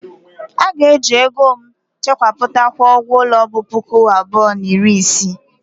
A ga-eji ego m chekwapụta kwụọ ụgwọ ulo bu puku abụọ na iri isii.